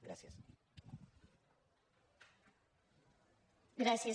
gràcies